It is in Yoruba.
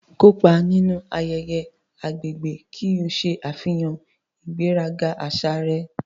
Kópa nínú ayẹyẹ agbègbè ki o ṣe àfihàn ìgbéraga àṣà rẹ.